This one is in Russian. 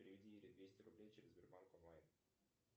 переведи ире двести рублей через сбербанк онлайн